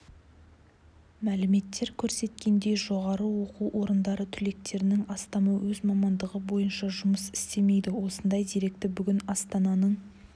мәліметтер көрсеткендей жоғары оқу орындары түлектерінің астамы өз мамандығы бойынша жұмыс істемейді осындай деректі бүгін астананың